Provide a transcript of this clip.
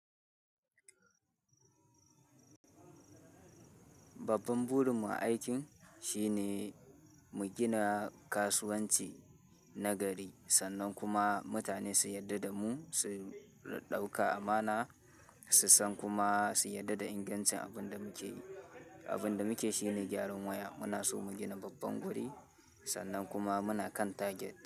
Babban burin mu a aikin shine mu gina kasuwanci na gari sannan kuma mutane su yarda da mu, su ɗauka amana, su san kuma su yarda da ingancin abin da muke yi. Abin da muke shi ne gyaran waya. Muna so mu gina babban guri sannan kuma muna kan target.